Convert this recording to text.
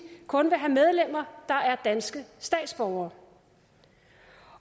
kun vil have medlemmer der er danske statsborgere